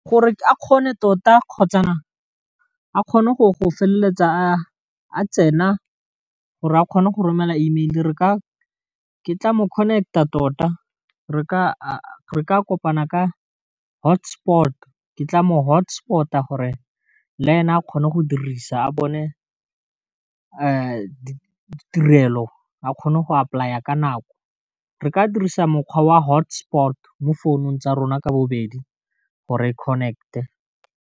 Gore a kgone tota kgotsa a kgone go feleletsa a tsena gore a kgone go romela email re ka ke tla mo connect-a tota, re ka kopana ka hotspot-o ke tla mo hotspot-a gore le ene a kgone go dirisa a bone ditirelo a kgone go apolaya ka nako re ka dirisa mokgwa wa hotspot-o mo founung tsa rona ka bobedi gore connect-e.